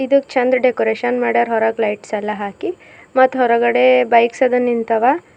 ಇದುಕ್ ಚಂದ ಡೆಕೋರೇಷನ್ ಮಡ್ಯಾರ್ ಹೊರಗೆ ಲೈಟ್ಸ್ ಎಲ್ಲ ಹಾಕಿ ಮತ್ ಹೊರಗಡೆ ಬೈಕ್ಸ್ ಅದ ನಿಂತವ.